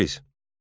Təbriz.